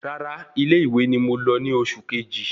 Rárá ilé ìwé ni mo lọ ni oṣù keji